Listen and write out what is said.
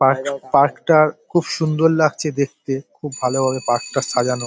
Park park -টার খুব সুন্দর লাগছে দেখতে খুব ভালোভাবে পার্কটা সাজানো ।